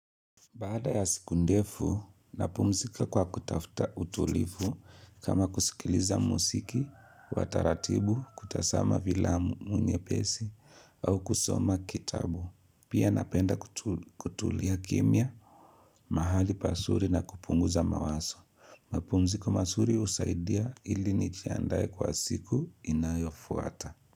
Baada ya siku ndefu, napumzika kwa kutafuta utulivu kama kusikiliza muziki, wataratibu, kutazama filamu nyepesi, au kusoma kitabu. Pia napenda kutulia kimya, mahali pazuri na kupunguza mawazo. Mapumziko mazuri usaidia ili nijiandaye kwa siku inayofuata.